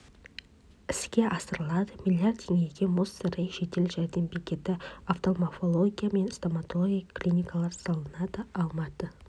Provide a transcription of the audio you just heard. іске асырылады млрд теңгеге мұз сарайы жедел жәрдем бекеті офтальмология мен стоматология клиникалары салынады алматы